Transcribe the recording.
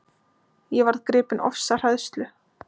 Ég varð gripin ofsahræðslu.